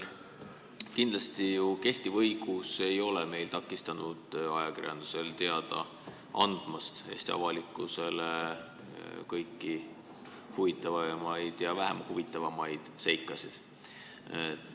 Kindlasti ei ole kehtiv õigus ju takistanud ajakirjandusel Eesti avalikkusele teada andmast kõiki huvitavaid ja vähem huvitavaid seikasid.